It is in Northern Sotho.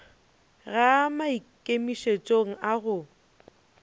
ga a maikemišetšong a go